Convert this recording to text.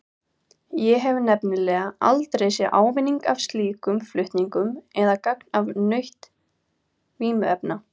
Ég hef nefnilega aldrei séð ávinning af slíkum flutningum eða gagn af nautn vímuefna.